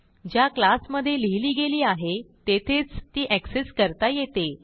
ज्या क्लासमधे लिहिली गेली आहे तेथेच ती एक्सेस करता येते